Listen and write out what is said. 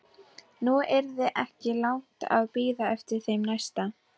Nú yrði ekki langt að bíða eftir þeim næsta.